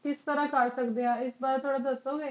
ਕਿਸ ਤਰ੍ਹਾਂ ਕਰ ਸਕਦੈ ਆਂ ਇਸ ਬਾਰੀ ਥੋੜ੍ਹਾ ਦੱਸੋ ਜੀ